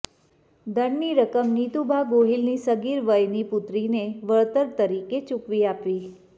દંડની રકમ નિતુભા ગોહિલની સગીર વયની પુત્રીને વળતર તરીકે ચુકવી આપવી